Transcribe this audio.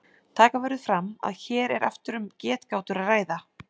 Taka verður fram að hér er aftur um getgátur að ræða.